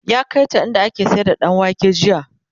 ya kaita inda ake sayar da ɗanwake jiya